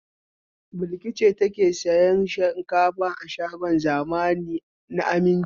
Balki ce take sayan shinkafa a shagon zamani na Aminci.